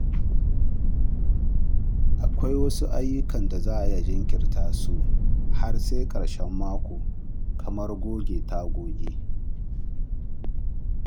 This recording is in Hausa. Akwai wasu ayyukan da za a iya jinkirta su har sai ƙarshen mako kamar goge tagogi.